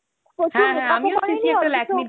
overlap